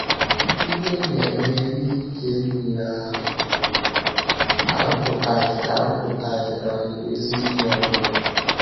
“ Iwe na ime ihe ike nile ahụ arụpụtaghị arụpụtaghị um ezi ihe ọ bụla ”